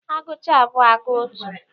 A gụcha abụọ, agụọ atọ.